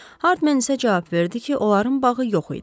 Hardman isə cavab verdi ki, onların bağı yox idi.